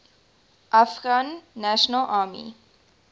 afghan national army